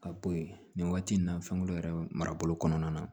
Ka bɔ yen nin waati nin na fɛnkolo yɛrɛ marabolo kɔnɔna na